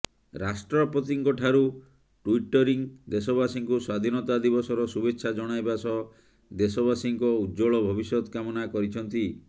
ରାଷ୍ଟ୍ରପତିଙ୍କଠାରୁ ଟ୍ୱିଟ୍କରି ଦେଶବାସୀଙ୍କୁ ସ୍ୱାଧିନତା ଦିବସର ଶୁଭେଚ୍ଛା ଜଣାଇବା ସହ ଦେଶବାସୀଙ୍କ ଉଜ୍ୱଳ ଭବିଷ୍ୟତ କାମନା କରିଛନ୍ତି